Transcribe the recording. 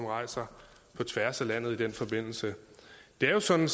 rejser på tværs af landet i den forbindelse det er jo sådan